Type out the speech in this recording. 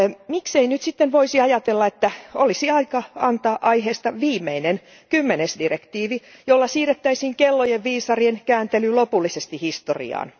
Miksei nyt voisi ajatella, että olisi aika antaa aiheesta viimeinen kymmenes direktiivi, jolla siirrettäisiin kellojen viisarien kääntely lopullisesti historiaan.